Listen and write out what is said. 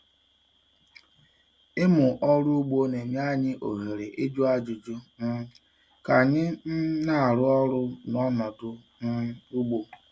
Ịmụ ọrụ ugbo na-enye anyị ohere ịjụ ajụjụ um ka anyị um na-arụ ọrụ na ọnọdụ um ugbo.